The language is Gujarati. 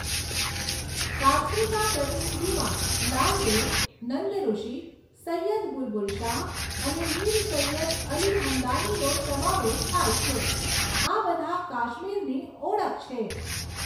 કાશ્મીરના પ્રતિનિધિમાં લાલદેડ, નંદઋષિ, સૈયદ બુલબુલ શાહ, અને મીર સૈયદ અલી હમદાનીનો સમાવેશ થાય છે. આ બધા કાશ્મીરની ઓળખ છે.